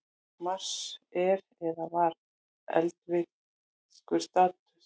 Mars er eða var eldvirkur staður.